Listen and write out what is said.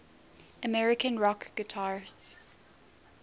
american rock guitarists